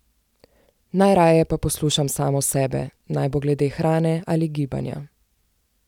Najraje pa poslušam samo sebe, naj bo glede hrane ali gibanja.